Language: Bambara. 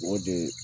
O de ye